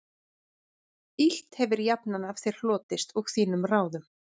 Illt hefir jafnan af þér hlotist og þínum ráðum